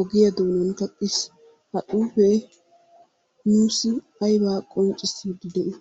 ogiya doonan kaqqiis. Ha xuufee nuussi aybaa qonccissiidi de'i?